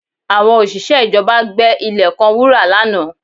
Àwọn òṣìṣẹ́ ìjọba gbẹ ilẹ̀ kan wúrà lánàá